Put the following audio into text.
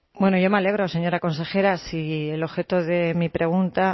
bueno yo me alegro señora consejera si el objeto de mi pregunta